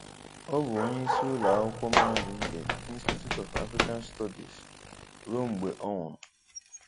Ọ bụ onye isi ụlọ akwụkwọ mahadum nke Institute of African Studies ruo mgbe ọ nwụrụ.